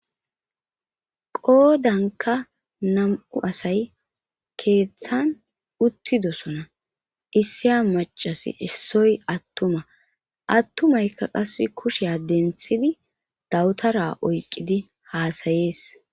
Qoodanka nam'u asay keeththan uttidosona issiya macasi issoy attuma attumayka qase kushea denthidi dawutara oyqidi haasayees.